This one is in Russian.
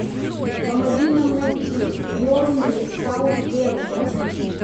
помоги нам найти бернли саутгемптон